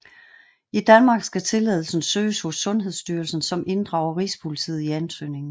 I Danmark skal tilladelsen søges hos Sundhedsstyrelsen som inddrager Rigspolitiet i ansøgningen